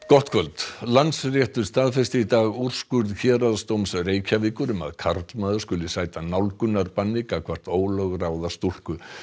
gott kvöld Landsréttur staðfesti í dag úrskurð Héraðsdóms Reykjavíkur um að karlmaður skuli sæta nálgunarbanni gagnvart ólögráða stúlku